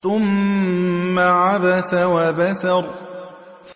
ثُمَّ عَبَسَ وَبَسَرَ